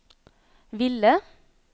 ville